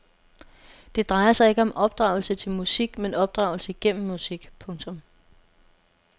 Det drejer sig ikke om opdragelse til musik men opdragelse gennem musik. punktum